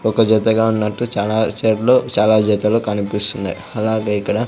ఒక జతగా ఉన్నటు చాలా చాలా జతలు కనిపిస్తున్నాయ్ అలాగే ఇక్కడ--